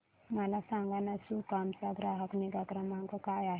मला सांगाना सुकाम चा ग्राहक निगा क्रमांक काय आहे